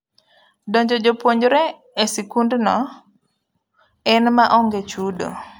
Donjo jopuonjre esikund no en maonge chudo.